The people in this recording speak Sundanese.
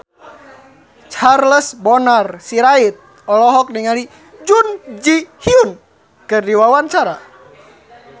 Charles Bonar Sirait olohok ningali Jun Ji Hyun keur diwawancara